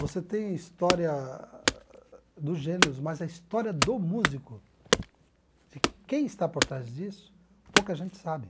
Você tem a história dos gêneros, mas a história do músico, de quem está por trás disso, pouca gente sabe.